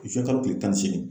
Zuwɛnkalo kile tan ni seegin.